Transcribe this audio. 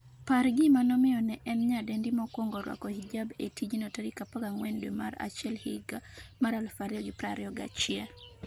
par gima nomiyo ne en nyadendi mokwongo rwako hijab e tijno14 dwe mar achiel higa mar 2021